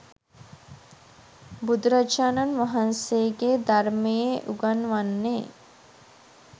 බුදුරජාණන් වහන්සේගේ ධර්මයේ උගන්වන්නේ